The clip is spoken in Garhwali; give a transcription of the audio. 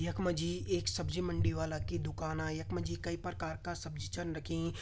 यखमा जी एक सब्जी-मंडी वाला की दुकाना यखमा जी कई प्रकार का सब्जी छन रखीं।